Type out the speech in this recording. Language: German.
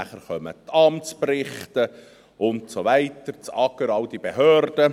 Danach kommen die Amtsberichte und so weiter, das AGR und alle diese Behörden.